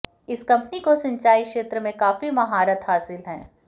इस कंपनी को सिंचाई क्षेत्र में काफी महारत हासिल है